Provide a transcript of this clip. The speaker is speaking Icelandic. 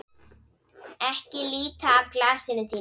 Ekki líta af glasinu þínu.